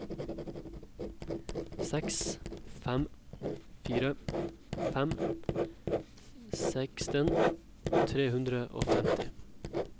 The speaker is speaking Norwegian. seks fem fire fem seksten tre hundre og femti